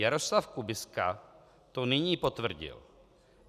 Jaroslav Kubiska to nyní potvrdil.